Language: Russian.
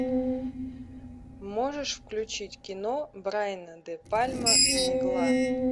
можешь включить кино брайана де пальма мгла